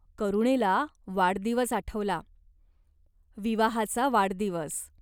करुणेला वाढदिवस आठवला. विवाहाचा वाढदिवस.